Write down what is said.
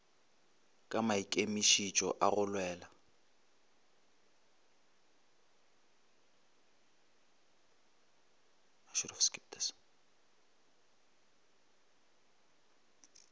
ka maikemišitšo a go lwela